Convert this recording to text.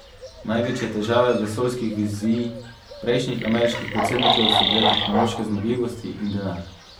Največje težave vesoljskih vizij prejšnjih ameriških predsednikov so bile tehnološke zmogljivosti in denar.